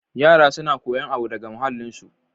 Yara suna kuyan abu daga muhallin su.